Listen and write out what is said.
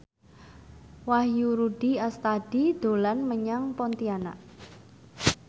Wahyu Rudi Astadi dolan menyang Pontianak